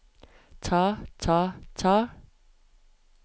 ta ta ta